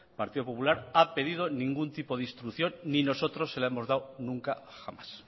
partido popular ha pedido ningún tipo de instrucción ni nosotros se la hemos dado nunca jamás